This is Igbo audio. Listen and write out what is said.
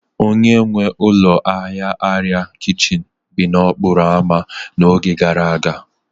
Onye nwe ụlọ ahịa arịa kichin bi n'okporo ámá n'oge gara aga